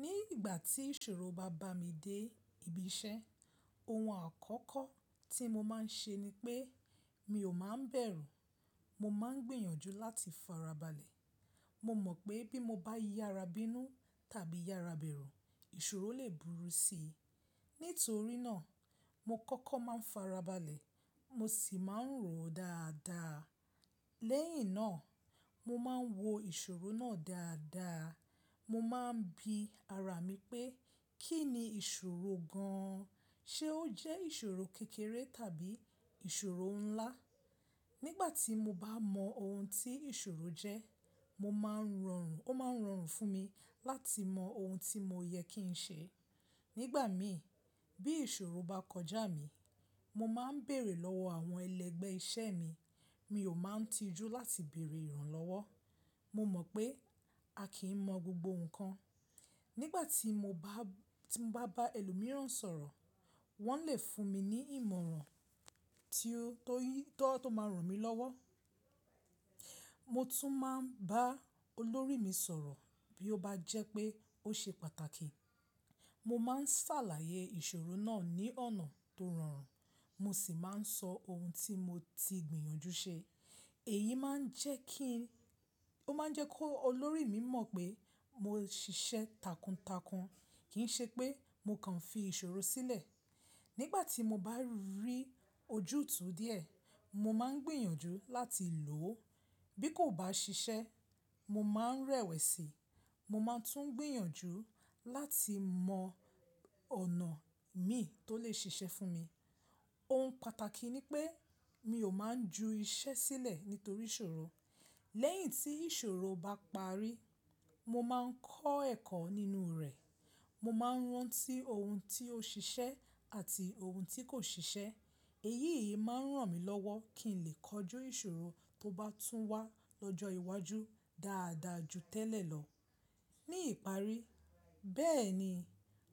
Ní ìgbà tí ìṣòro bá bá mi dé ibi iṣẹ́, ohun àkọ́kọ́ tí mo máa ń ṣe ni pé mi ò máa ń bẹ̀rù. Mo máa ń gbìyànjú láti farabalẹ̀. Mo mọ̀ pé bí mo bá yára bínú tàbí yára bẹ̀rù, ìṣòro lè burú si. Nítorí náà, mo kọ́kọ́ máa ń farabalẹ̀, mo sì máa ń ròó dáadáa. Lẹ́yìn náà, mo máa ń wo ìṣòro náà dáadáa. Mo máa ń bi ara mi pé kí ni ìṣòro gan an? Ṣé ó jẹ́ ìṣòro kékeré tàbí ìṣòro ńlá? Nígbà tí mo bá mọ ohun tí ìṣòro jẹ́, mo máa ń rọrùn, ó máa ń rọrùn fún mi láti mọ ohun tí mo yẹ kí n ṣe. Nígbà mi, bí ìṣòro bá kọjá mi, mo máa ń bèrè lọ́wọ́ àwọn ẹlẹ́gbẹ́ iṣẹ́ mi. Mi ò máa ń tijú láti bèrè ìrànlọ́wọ́. Mo mọ̀ pé a kì í mọ gbogbo nǹkan. Nígbà tí mo bá, tí mo bá bá ẹlòmíràn sọ̀rọ̀, wọ́n lè fún mi ní ìmọ̀ràn tó, tó yí, tó, tó máa ràn mí lọ́wọ́. Mo tún máa ń bá olórí mi sọ̀rọ̀ bí ó bá jẹ́ pé ó ṣe pàtàkì. Mo máa ń ṣàlàyé ìṣòro náà ní ọ̀nà tó rọrùn, mo sì máa ń sọ ohun tí mo ti gbìyànjú ṣe. Èyí máa ń jẹ́ kí n-- ó máa ń jẹ́ kó olórí mi mọ̀ pé mo ṣiṣẹ́ takuntakun, kì í ṣe pé mo kàn fi ìṣòro sílẹ̀. Nígbà tí mo bá rí ojútùú díẹ̀, mo máa ń gbìyànjú láti lò ó. Bí kò bá ṣiṣẹ́, mo máa ń rẹ̀wẹ̀sì. Mo máa tún gbìyànjú láti mọ ọ̀nà mí tó lè ṣiṣẹ́ fún mi. Ohun pàtàkì ni pé mi ò máa ń ju iṣẹ́ sílẹ̀ nítorí ìṣòro. Lẹ́yìn tí ìṣòro bá parí, mo máa ń kọ́ ẹ̀kọ́ nínú rẹ̀. Mo máa ń rántí ohun tí ó ṣiṣẹ́ àti ohun tí kò ṣiṣẹ́. Èyí yìí máa ń ràn mí lọ́wọ́ kí n lè kojú ìṣòro tó bá tún wá lọ́jọ́ iwájú dáadáa ju tẹ́lẹ̀ lọ. Ní ìparí, bẹ́ẹ̀ ni,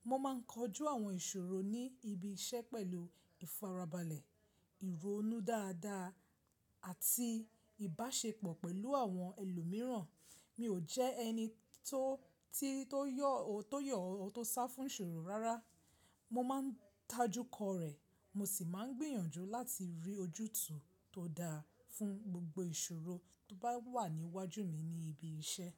mo máa ń kojú àwọn ìṣòro ní ibi iṣẹ́ pẹ̀lú ìfarabalẹ̀, ìronú dáadáa àti ìbáṣepọ̀ pẹ̀lú àwọn ẹlòmíràn. Mi ò jẹ́ ẹni tó, tí, tó yọ̀, tó yọ tó sá fún ìṣòro rárá. Mo máa ń tajúkọ rẹ̀, mo sì máa ń gbìyànjú láti rí ojútùú tó dáa fún gbogbo ìṣòro tó bá wà níwájú mi ní ibi iṣẹ́.